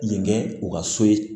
Nin kɛ u ka so ye